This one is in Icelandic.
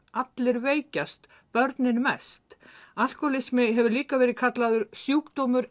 allir veikjast börnin mest alkóhólismi hefur líka verið kallaður sjúkdómur